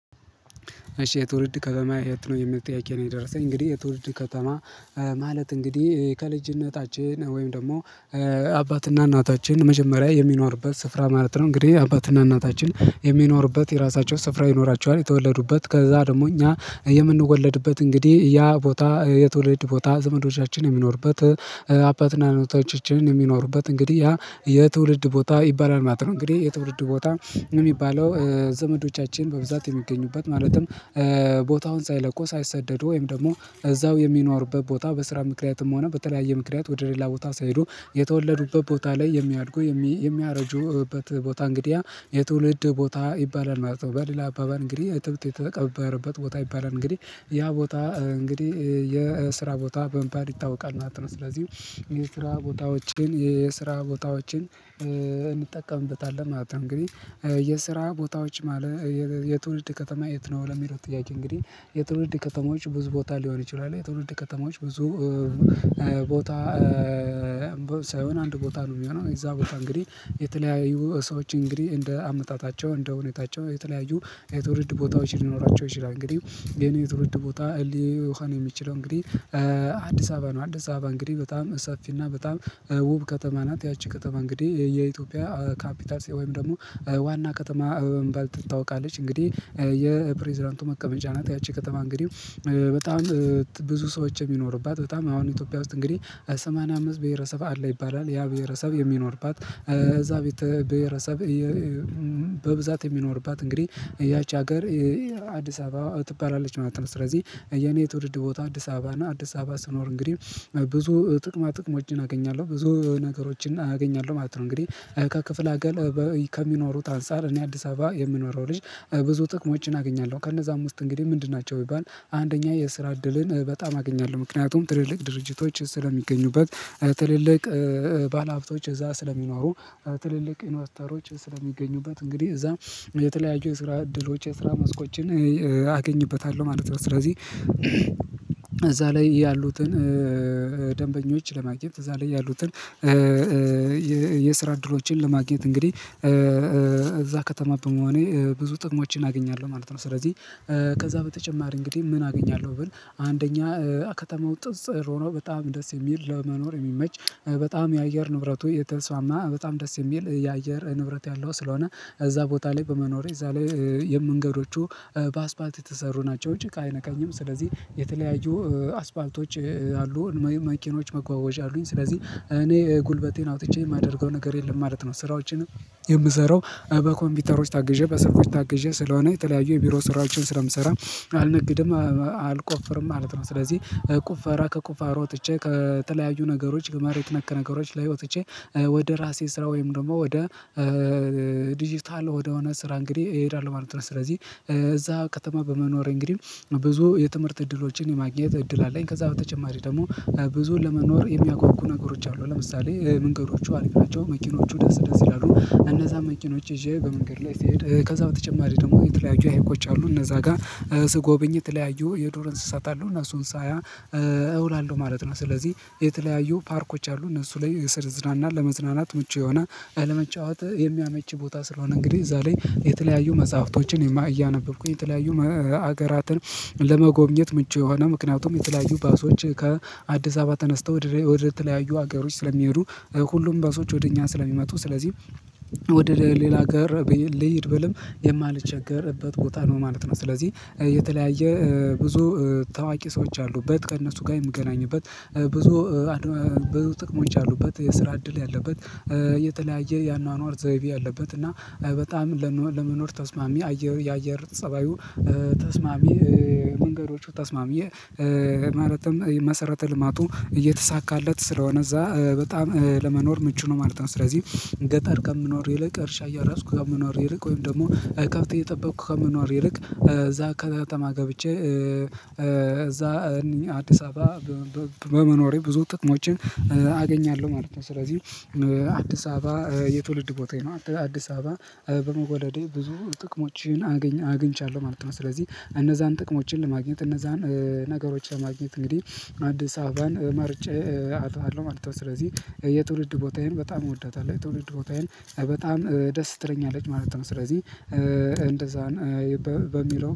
እሺ የትውልድ ከተማ የት ነው የሚል ጥየቄ ነው? የደረሰኝ እንግዲህ የትውልድ ከተማ ማለት እንግዲህ ከልጅነታችን ወይም ደግሞ አባትና እናታችን መጀመሪያ የሚኖርበት ስፍራ ማለት ነው። እንግዲህ አባትና እናታችን የሚኖሩበት የራሳቸው ስፍራ ይኖራቸዋል የተወለዱበት ከዛ ደግሞ እኛ የምንወለድበት እንግዲህ ያ ቦታ የትውልድ ቦታ ዘመዶቻችን የሚኖሩበት አባትና እናቶቻችንም የሚኖሩበት እንግዲህ ያ የትውልድ ቦታ ይባላል ማለት ነው። እንግዲህ የትውልድ ቦታ የሚባለው ዘመዶቻችን በብዛት የሚገኙበት ማለትም ቦታውን ሳይለቁ ሳይሰደዱ ወይም ደግሞ እዛው የሚኖሩበት ቦታ በስራ ምክንያትም ሆነ በተለያየ ምክንያት ወደ ሌላ ቦታ ሳይሄዱ የተወለዱበት ቦታ ላይ የሚያድጉ የሚያረጁበት ቦታ እንግዲህ ያ የትውልድ ቦታ ይባላል ማለት ነው። በሌላ አባባል እንግዲህ እትብት የተቀበረበት ቦታ ይባላል እንግዲህ ያ ቦታ እንግዲህ የስራ ቦታ በሚባል ይታወቃል ማለት ነው። ስለዚህ የስራ ቦታዎችን የስራ ቦታዎችን እንጠቀምበታለን ማለት ነው። እንግዲህ የስራ ቦታዎች ማለት የትውልድ ከተማ የት ነው ለሚለው ጥያቄ እንግዲህ የትውልድ ከተሞች ብዙ ቦታ ሊሆን ይችላል የትውልድ ከተሞች ብዙ ቦታ ሳይሆን አንድ ቦታ ነው። የሚሆነው እዛ ቦታ እንግዲህ የተለያዩ ሰዎች እንግዲህ እንደ አመጣታቸው እንደ ሁኔታቸው የተለያዩ የትውልድ ቦታዎች ሊኖራቸው ይችላል እንግዲህ የኔ የትውውል ቦታ ሊሆን የሚችለው እንግዲህ አዲስ አበባ ነው። አዲስ አበባ እንግዲህ በጣም ሰፊና በጣም ውብ ከተማ ናት ያቺ ከተማ እንግዲህ የኢትዮጵያ ካፒታል ወይም ደግሞ ዋና ከተማ በመባል ትታወቃለች። እንግዲህ የፕሬዝዳንቱ መቀመጫ ናት። ያቺ ከተማ እንግዲህ በጣም ብዙ ሰዎች የሚኖሩባት በጣም አሁን ኢትዮጵያ ውስጥ እንግዲህ ሰማንያ አምስት ብሄረሰብ አለ ይባላል ያ ብሄረሰብ የሚኖርባት እዛ ቤተ ብሄረሰብ በብዛት የሚኖርባት እንግዲህ ያቺ ሀገር አዲስ አበባ ትባላለች ማለት ነው። ስለዚህ የኔ ትውልድ ቦታ አዲስ አበባ እና አዲስ አበባ ስኖር እንግዲህ ብዙ ጥቅማ ጥቅሞችን አገኛለሁ ብዙ ነገሮችን አገኛለሁ ማለት ነው። እንግዲህ ከክፍለ አገር ከሚኖሩት አንፃር እኔ አዲስ አበባ የምኖረው ልጅ ብዙ ጥቅሞችን አገኛለሁ ከነዛም ውስጥ እንግዲህ ምንድን ናቸው ቢባል አንደኛ የስራ እድልን በጣም አገኛለሁ ምክንያቱም ትልልቅ ድርጅቶች ስለሚገኙበት ትልልቅ ባለሀብቶች እዛ ስለሚኖሩ ትልልቅ ኢንቨስተሮች ስለሚገኙበት እንግዲህ እዛ የተለያዩ የስራ እድሎች የስራ መስኮችን አገኝበታለሁ ማለት ነው። ስለዚህ እዛ ላይ ያሉትን ደንበኞች ለማግኘት እዛ ላይ ያሉትን የስራ እድሎችን ለማግኘት እንግዲህ እዛ ከተማ በመሆኔ ብዙ ጥቅሞችን አገኛለሁ ማለት ነው። ስለዚህ ከዛ በተጨማሪ እንግዲህ ምን አገኛለሁ ብል አንደኛ ከተማው ጥጽ ሆኖ በጣም ደስ የሚል ለመኖር የሚመች በጣም የአየር ንብረቱ የተስስማማ በጣም ደስ የሚል የአየር ንብረት ያለው ስለሆነ እዛ ቦታ ላይ በመኖሬ እዛ ላይ የመንገዶቹ በአስፋልት የተሰሩ ናቸው ጭቃ አይነካኝም ስለዚህ የተለያዩ አስፋልቶች አሉ የመኪኖች መጓጓዣ አሉኝ ስለዚህ እኔ ጉልበቴን አውጥቼ የማደርገው ነገር የለም ማለት ነው። ስራዎችንም የምሰራው በኮምፒውተሮች ታግዤ በስልኮች ታግዤ ስለሆነ የተለያዩ የቢሮ ስራዎችን ስለምሰራ አልነግድም አልቆፍርም ማለት ነው። ስለዚህ ቁፈራ ከቁፋሮ ወጥቼ ከተለያዩ ነገሮች መሬት ነክ ነገሮች ላይ ወጥቼ ወደ ራሴ ስራ ወይም ደግሞ ወደ ዲጂታል ወደሆነ ስራ እንግዲህ እሄዳለሁ ማለት ነው። ስለዚህ እዛ ከተማ በመኖሬ እንግዲህ ብዙ የትምህርት እድሎችን የማግኘት እድል አለኝ ከዛ በተጨማሪ ደግሞ ብዙን ለመኖር የሚያጎጉ ነገሮች አሉ ለምሳሌ መንገዶቹ አሪፍ ናቸው መኪኖቹ ደስ ደስ ይላሉ እነዛ መኪኖች ይዤ በመንገድ ላይ ስሄድ ከዛ በተጨማሪ ደግሞ የተለያዩ ሀይቆች አሉ እነዛ ጋር ስጎብኝ የተለያዩ የዱር እንስሳት አሉ እነሱን ሳያ እውላለሁ ማለት ነው። ስለዚህ የተለያዩ ፓርኮች አሉ እነሱ ላይ ስር ዝናና ለመዝናናት ምቹ የሆነ ለመጫወት የሚያመች ቦታ ስለሆነ እንግዲህ እዛ ላይ የተለያዩ መጽሐፍቶችን እያነበብኩኝ የተለያዩ ሀገራትን ለመጎብኘት ምቹ የሆነ ምክንያቱም የተለያዩ ባሶች ከአዲስ አባባ ተነስተው ወደ ወደ ተለያዩ ሀገሮች ስለሚሄዱ ሁሉም ባሶች ወደ እኛ ስለሚመጡ ስለዚህ ወደ ሌላ ሀገር ልሂድ ብልም የማልቸገርበት ቦታ ነው ማለት ነው። ስለዚህ የተለያየ ብዙ ታዋቂ ሰዎች አሉበት ከእነሱ ጋር የምገናኝበት ብዙ ብዙ ጥቅሞች አሉበት የስራ እድል ያለበት የተለያየ የአኗኗር ዘይቤ አለበት እና በጣም ለመኖር ተስማሚ አየር የአየር ፀባዩ ተስማሚ መንገዶቹ ተስማሚ መሰረተ ልማቱ እየተሳካለት ስለሆነ እዛ በጣም ለመኖር ምቹ ነው ማለት ነው። ስለዚህ ገጠር ከምኖር ይልቅ እርሻ እያራስኩ ከምኖር ይልቅ ወይም ደግሞ ከብት እየጠበቅኩ ከምኖር ይልቅ እዛ ከተማ ገብቼ እዛ አዲስ አበባ በመኖሬ ብዙ ጥቅሞችን አገኛለሁ ማለት ነው። ስለዚህ አዲስ አበባ የትውልድ ቦታዬ ነው አዲስ አበባ በመወለዴ ብዙ ጥቅሞችን አግኝ አግኝቻለሁ ማለት ነው። ስለዚህ እነዛን ጥቅሞችን ለማግኘት እነዛን ነገሮችን ለማግኘት እንግዲህ አዲስ አበባን መርጬ አድርገዋለሁ ማለት ነው። ስለዚህ የትውልድ ቦታዬን በጣም እወዳታለሁ የትውልድ ቦታዬን በጣም ደስ ትለኛለች ማለት ነው። ስለዚህ እንደዛን በሚለው